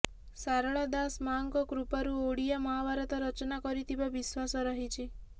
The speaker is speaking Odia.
ଶାରଳା ଦାସ ମାଆଙ୍କ କୃପାରୁ ଓଡିଆ ମହାଭାରତ ରଚନା କରିଥିବା ବିଶ୍ୱାସ ରହିଛି